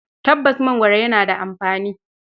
Tabbas, mangoro yana da amfani.